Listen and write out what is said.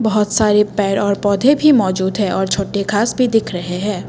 बहुत सारे पेड़ और पौधे भी मौजूद है और छोटे घांस भी दिख रहे हैं।